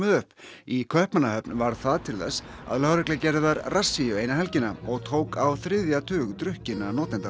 upp í Kaupmannahöfn varð það til þess að lögregla gerði þar rassíu eina helgina og tók á þriðja tug drukkinna notenda